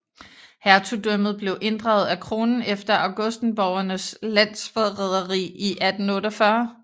Hertugdømmet blev inddraget af kronen efter augustenborgernes landsforræderi i 1848